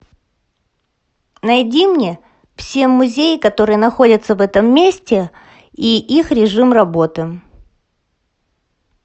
найди мне все музеи которые находятся в этом месте и их режим работы